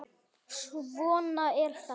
Svona er þetta.